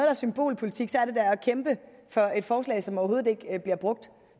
er symbolpolitik er det da at kæmpe for et forslag som overhovedet ikke bliver brugt